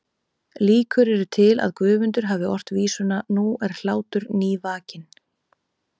Líkur eru til að Guðmundur hafi ort vísuna Nú er hlátur nývakinn